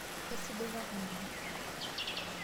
Kesidai kake oleng.